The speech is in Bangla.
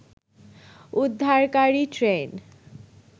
উদ্ধারকারী ট্রেন